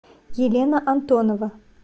елена антонова